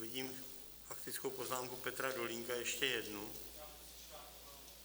Vidím faktickou poznámku Petra Dolínka, ještě jednu.